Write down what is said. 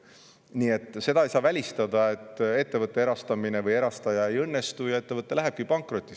Nii et seda ei saa välistada, et ettevõtte erastamine ei õnnestu ja ettevõte lähebki pankrotti.